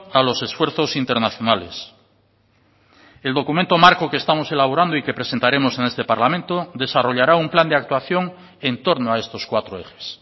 a los esfuerzos internacionales el documento marco que estamos elaborando y que presentaremos en este parlamento desarrollará un plan de actuación en torno a estos cuatro ejes